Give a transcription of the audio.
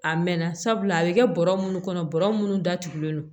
A mɛnna sabula a bɛ kɛ bɔrɔ munnu kɔnɔ bɔrɔ munnu datugulen don